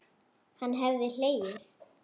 Hann hafði hlegið.